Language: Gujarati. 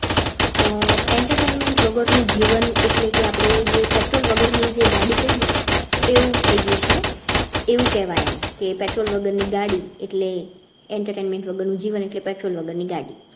આહ entertainment વગરનું જીવન એટલે કે આપણે જે petrol વગરની ગાડી કહીયે એવું થઇ ગયું છે. એવુ કહેવાય અમ કે petrol વગરની ગાડી એટલે entertainment વગર નું જીવન એટલે petrol વગરની ગાડી